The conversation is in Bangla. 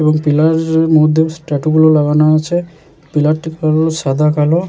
এবং পিলার দের মধ্যে স্ট্যাটু গুলো লাগানো হয়েছে। পিলারটি পুরো সাদা কালো।